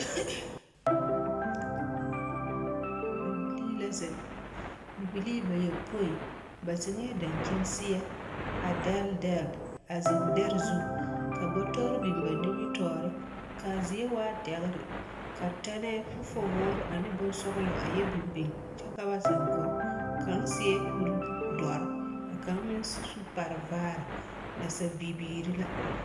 Bibilii la zeŋ bibilii bayɔpoi ba zeŋɛɛ dankyini seɛ a dɛlle dɛlle a zeŋ dɛre zu ka bɔtɔre biŋ ba nimitɔɔre ka a zie waa dɛgre ka tɛnɛɛ fofowoore ane bonsɔglɔ a yɔ biŋ biŋ kyɛ ka ba zeŋ kɔge kaŋ seɛ kuridɔre ka kaŋ meŋ su kparevaare nasabibiiri la.